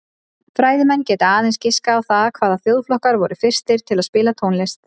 Fræðimenn geta aðeins giskað á það hvaða þjóðflokkar voru fyrstir til að spila tónlist.